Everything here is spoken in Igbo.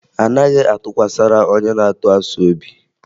Anaghị atụkwasara onye na-atụ asị obi